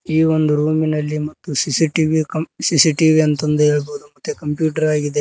ಈ ಒಂದು ರೂಮಿನಲ್ಲಿ ಮತ್ತು ಸಿ_ಸಿ_ಟಿ_ವಿ ಕಂ ಸಿ_ಸಿ_ಟಿ_ವಿ ಅಂತ ಆಂದ್ ಹೇಳ್ಬೋದು ಮತ್ತೆ ಕಂಪ್ಯೂಟರ್ ಆಗಿದೆ.